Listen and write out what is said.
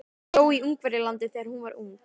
Hún bjó í Ungverjalandi þegar hún var ung.